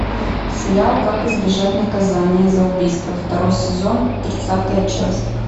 сериал как избежать наказание за убийство второй сезон тридцатая часть